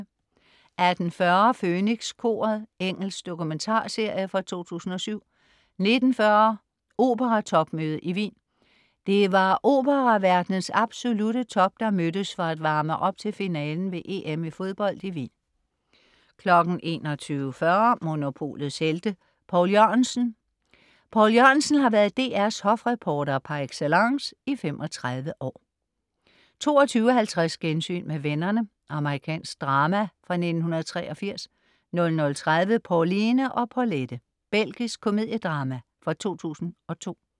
18.40 Fønikskoret. Engelsk dokumentarserie fra 2007 19.40 Operatopmøde i Wien. Det var operaverdenens absolutte top, der mødtes for at varme op til finalen ved EM i fodbold i Wien 21.40 Monopolets Helte. Poul Jørgensen. Poul Jørgensen har været DR's hofreporter par excellence i 35 år 22.50 Gensyn med vennerne. Amerikansk drama fra 1983 00.30 Pauline og Paulette. Belgisk komediedrama fra 2002